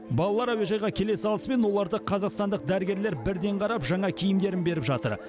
балалар әуежайға келе салысымен оларды қазақстандық дәрігерлер бірден қарап жаңа киімдерін беріп жатыр